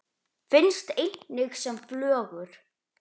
Finnst einnig sem flögur.